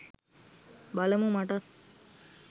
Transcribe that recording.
බලමු මටත්